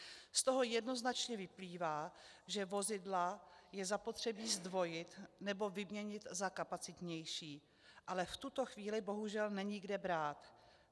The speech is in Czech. Z toho jednoznačně vyplývá, že vozidla je zapotřebí zdvojit nebo vyměnit za kapacitnější, ale v tuto chvíli bohužel není kde brát.